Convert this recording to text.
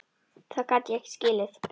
Það gat ég ekki skilið.